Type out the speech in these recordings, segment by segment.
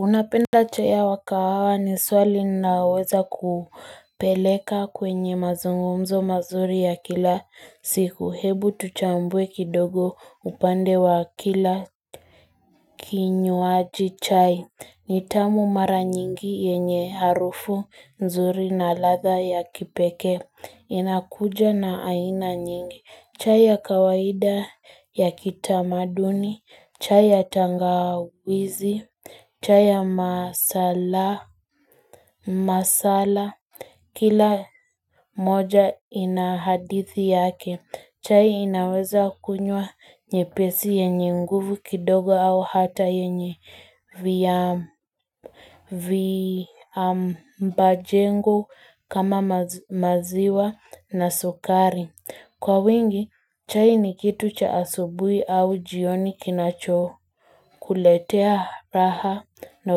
Unapenda chai ya wa kahawa ni swali inaoweza kupeleka kwenye mazungumzo mazuri ya kila siku hebu tuchambuwe kidogo upande wa kila Kinywaji chai ni tamu mara nyingi yenye harufu nzuri na ladha ya kipeke inakuja na aina nyingi chai ya kawaida ya kitamaduni, chai ya tangawizi, chai ya masala, kila moja ina hadithi yake, chai inaweza kunywa nyepesi yenye nguvu kidogo au hata yenye viambajengo kama maziwa na sukari Kwa wingi, chai ni kitu cha asubui au jioni kinacho kuletea raha na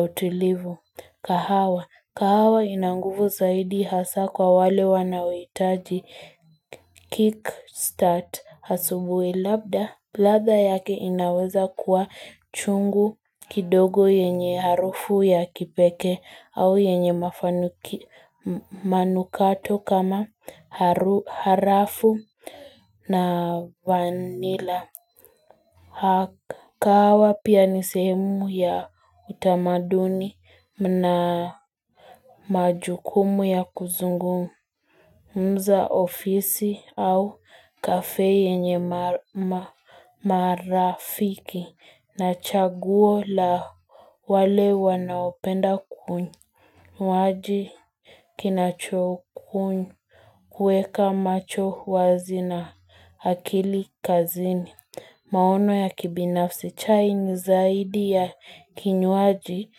utilivu kahawa. Kahawa ina ngufu saidi hasa kwa wale wanaohitaji kickstart asubui labda. Bladha yake inaweza kuwa chungu kidogo yenye harufu ya kipeke au yenye mafanuki manukato kama harafu na vanila. Kahawa pia ni sehemu ya utamaduni mna majukumu ya kuzungumu. Mza ofisi au kafe yenye marafiki na chaguo la wale wanaopenda kuny. Mwaji kinachoku kuny. Huweka macho wazi na hakili kazini. Maono ya kibinafsi chai ni zaidi ya kinyuaji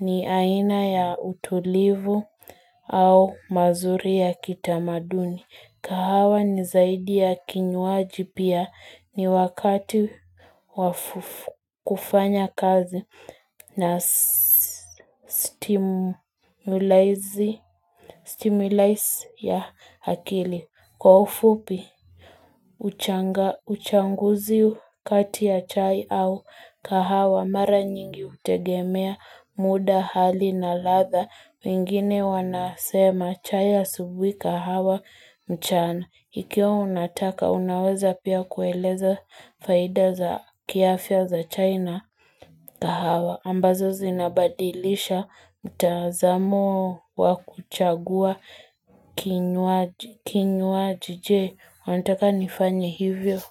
ni aina ya utulivu au mazuri ya kitamaduni. Kahawa ni zaidi ya kinyuaji pia ni wakati wa kufanya kazi na stimulise ya hakili. Kwa ufupi, uchanguzi kati ya chai au kahawa mara nyingi utegemea muda hali na ladha. Wengine wanasema chai asubui kahawa mchana. Ikiwa unataka, unaweza pia kueleza faida za kiafya za chai na kahawa. Ambazo zinabadilisha mtaazamo wa kuchagua kinywaji je, Wanitaka nifanye hivyo.